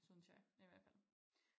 Synes jeg i hvert fald